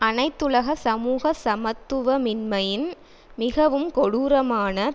அனைத்துலக சமூக சமத்துவமின்மையின் மிகவும் கொடூரமான